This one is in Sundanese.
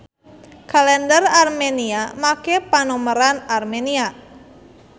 Kalender Armenia make panomeran Armenia.